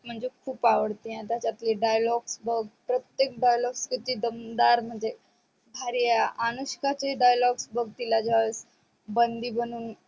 म्हणजे खूप आवडते आणि त्यातले dialogue प्रतेक dialogue किती दमदार म्हणजे भारी आहे अनुष्काचे dialogue जर बग तिला बंदी बनून